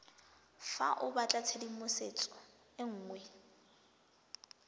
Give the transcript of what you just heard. fa o batlatshedimosetso e nngwe